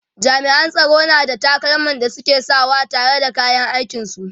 jami'an tsaro na da takalman da suke Saka wa tare da kayan aikin su